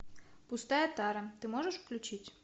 пустая тара ты можешь включить